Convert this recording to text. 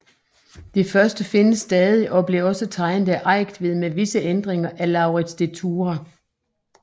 Det første findes stadig og blev også tegnet af Eigtved med visse ændringer af Lauritz de Thurah